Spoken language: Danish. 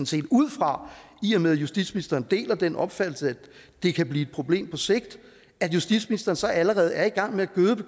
set ud fra i og med at justitsministeren deler den opfattelse at det kan blive et problem på sigt at justitsministeren så allerede er i gang med at gøde